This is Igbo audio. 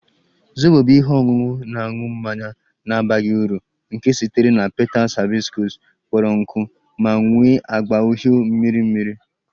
Zobo bụ ihe ọṅụṅụ na-aṅụ mmanya na-abaghị uru nke sitere na petals hibiscus kpọrọ nkụ ma nwee agba uhie miri emi